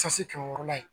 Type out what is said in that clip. sɛti kɛmɛ wɔɔrɔla ye